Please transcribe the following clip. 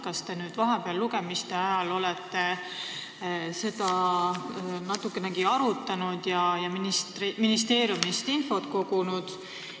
Kas te olete seda lugemiste vahepeal natukenegi arutanud ja ministeeriumist infot kogunud?